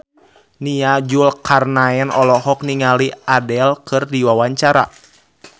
Nia Zulkarnaen olohok ningali Adele keur diwawancara